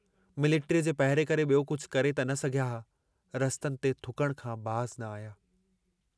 Military जे पहिरे करे बियो कुझु करे त न सघिया हा, रस्तनि ते थुकण खां बाज़ न आया।